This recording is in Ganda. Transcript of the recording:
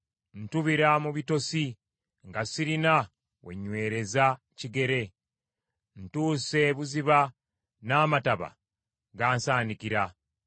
Ntubira mu bitosi nga sirina we nnywereza kigere. Ntuuse ebuziba n’amataba gansaanikira.